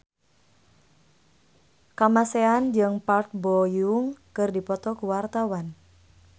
Kamasean jeung Park Bo Yung keur dipoto ku wartawan